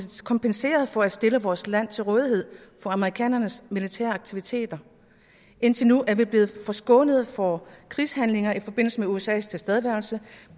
kompenseret for at stille vores land til rådighed for amerikanernes militære aktiviteter indtil nu er vi blevet forskånet for krigshandlinger i forbindelse med usas tilstedeværelse